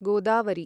Godavari